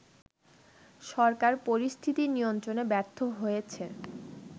সরকার পরিস্থিতি নিয়ন্ত্রণে ব্যর্থ হয়েছে